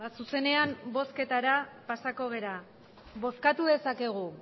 zuzenean bozketara pasatuko gara bozkatu dezakegu